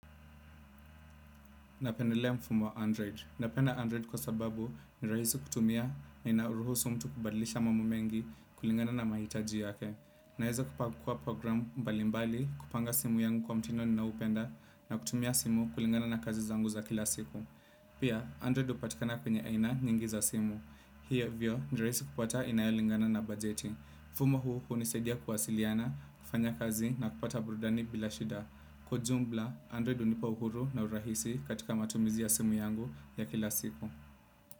Napendelea mfumo wa android. Napenda Android kwa sababu ni rahisi kutumia na ina ruhusu mtu kubadlisha mambo mengi kulingana na mahitaji yake. Naweza kupakua program mbalimbali kupanga simu yangu kwa mtindo ninaopenda na kutumia simu kulingana na kazi zangu za kila siku. Pia, Android hupatikana kwenye aina nyingi za simu. Hivyo ni rahisi kupata inayo lingana na bajeti. mfumo huu hunisadia kuwasiliana, kufanya kazi na kupata burudani bila shida. Kwa ujumla, Android hunipa uhuru na urahisi katika matumizi ya simu yangu ya kila siku.